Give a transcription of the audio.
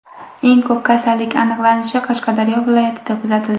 Eng ko‘p kasallik aniqlanishi Qashqadaryo viloyatida kuzatildi.